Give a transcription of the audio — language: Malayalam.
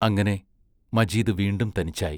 അങ്ങനെ മജീദ് വീണ്ടും തനിച്ചായി.